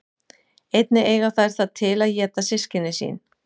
Einnig eiga þær það til að éta systkini sín.